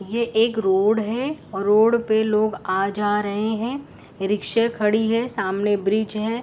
या एक रोड है। रोड पर लोग आ जा रहे हैं। रिक्शा खड़ी है सामने ब्रिज है।